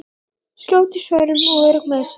Skjót í svörum og örugg með sig.